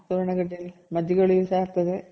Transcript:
ಸುವರ್ಣ ಗೆಡ್ಡೆಲಿ ಮಜ್ಜಿಗೆ ಹುಳಿನು ಸಹ ಆಗ್ತದೆ